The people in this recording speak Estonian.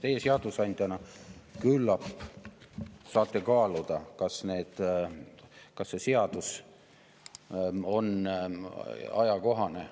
Teie seadusandjana küllap saate kaaluda, kas see seadus on ajakohane.